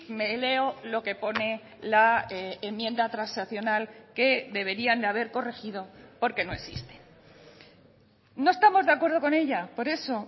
me leo lo que pone la enmienda transaccional que deberían de haber corregido porque no existe no estamos de acuerdo con ella por eso